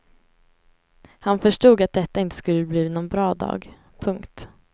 Han förstod att detta inte skulle bli någon bra dag. punkt